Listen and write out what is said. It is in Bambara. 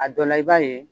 A dɔ la i b'a ye